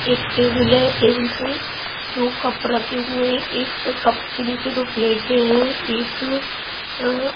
एक टेबिल है टेबिल पे दो कप रखे हुए हैं एक कप के नीचे दो प्लेटें हैं एक अह--